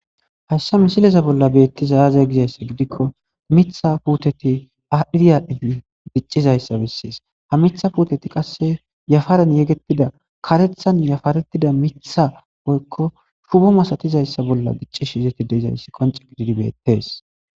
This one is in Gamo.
haysa misileza bolla beettiza aaze gizayssa gidikko mitha puteti adhi adhi diccizayssa bessees ha mitha puuteti qasse yafaran yegettida karethan yafaretida mitha poykko shubo masatizayssa bolla gicci shizeti deizayssi konce gididi beettees